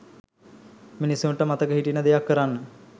මිනිස්සුන්ට මතක හිටින දෙයක් කරන්න.